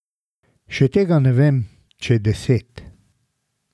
Še tega ne vem, če deset.